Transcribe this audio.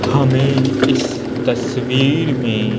हमें इस तस्वीर में --